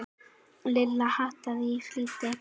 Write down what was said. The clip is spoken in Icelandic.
Lilla háttaði í flýti.